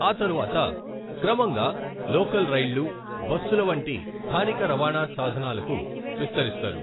ఆ తరువాత క్రమంగా లోకల్ రైళ్లు , బస్సుల వంటి స్థానిక రవాణా సాధనాలకు విస్తరిస్తారు.